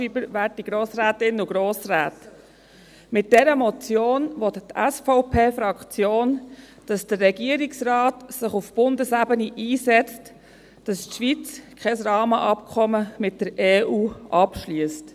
Mit dieser Motion will die SVP-Fraktion, dass der Regierungsrat sich auf Bundesebene einsetzt, damit die Schweiz kein Rahmenabkommen mit der Europäischen Union (EU) abschliesst.